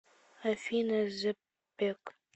афина зепек